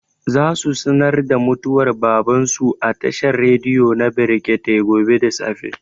Za su sanar da mutuwar baban su a tashar rediyo na brekete gobe da safe